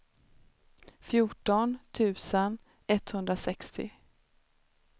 fjorton tusen etthundrasextio